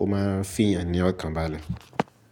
Ó má a ń fìyàn ní ọ̀kan balẹ̀